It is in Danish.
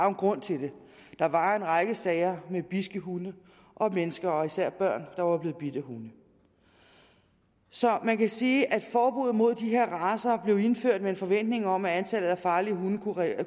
en grund til det der var en række sager med bidske hunde og mennesker og især børn der var blevet bidt af hunde så man kan sige at forbuddet mod de her racer blev indført med en forventning om at antallet af farlige hunde